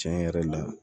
Tiɲɛ yɛrɛ la